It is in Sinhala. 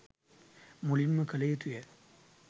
මුලින් ම කළ යුතු ය.